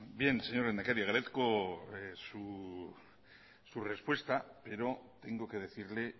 bien señor lehendakari agradezco su respuesta pero tengo que decirle